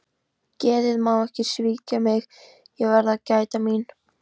Geðið má ekki svíkja mig, ég verð að gæta mín.